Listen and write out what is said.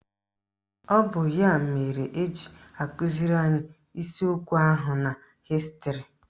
Ọ bụ ya mere eji akụziri anyị isiokwu ahu na Hịstịrị.